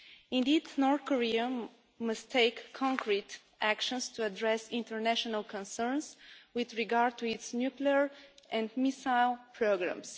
Indeed, North Korea must take concrete action to address international concerns with regard to its nuclear and missile programmes.